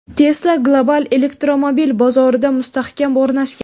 Tesla global elektromobil bozorida mustahkam o‘rnashgan.